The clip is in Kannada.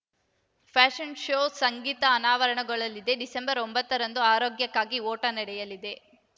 ಫ್ಯಾಶನ್‌ ಶೋ ಸಂಗೀತ ಅನಾವರಣಗೊಳ್ಳಲಿದೆ ಡಿಸೆಂಬರ್ ಒಂಬತ್ತರಂದು ಆರೋಗ್ಯಕ್ಕಾಗಿ ಓಟ ನಡೆಯಲಿದೆ